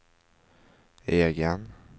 egen